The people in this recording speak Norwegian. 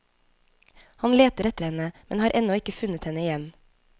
Han leter etter henne, men har ennå ikke funnet henne igjen.